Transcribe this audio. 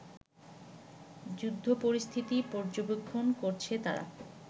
যুদ্ধপরিস্থিতি পর্যবেক্ষণ করছে তারা